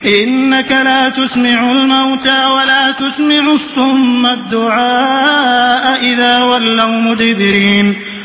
إِنَّكَ لَا تُسْمِعُ الْمَوْتَىٰ وَلَا تُسْمِعُ الصُّمَّ الدُّعَاءَ إِذَا وَلَّوْا مُدْبِرِينَ